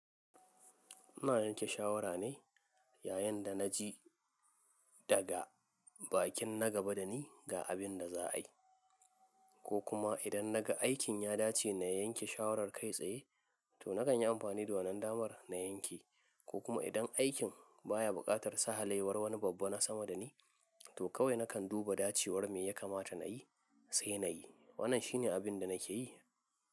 Ina yanke shawara ne yayin da na ji daga bakin na gaba da ni ga abin da za a yi. Ko kuma idan naga aikin ya dace na yanke shawarar kai tsaye, to na kan yi amfani da wannan damar na yanke. Ko kuma idan aikin baya buƙatar sahalaiwar wani babba na sama da ni, to kawai na kan duba dacewar me ya kamata na yi, sai na yi. Wannan shi ne abin da na ke yi.